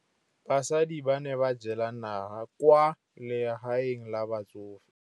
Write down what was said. Basadi ba ne ba jela nala kwaa legaeng la batsofe.